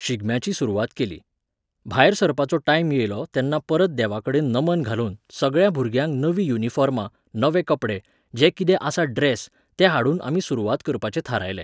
शिगम्याची सुरवात केली. भायर सरपाचो टायम येयलो तेन्ना परत देवाकडेन नमन घालून, सगळ्या भुरग्यांक नवीं युनिफॉर्मां, नवे कपडे, जे कितें आसा ड्रॅस, ते हाडून आमी सुरवात करपाचें थारायलें